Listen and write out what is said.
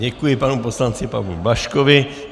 Děkuji panu poslanci Pavlu Blažkovi.